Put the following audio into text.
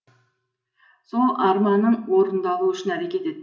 сол арманың орындалуы үшін әрекет ет